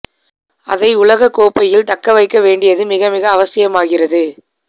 அதை உலகக் கோப்பையில் தக்க வைக்க வேண்டியது மிக மிக அவசியமாகிறது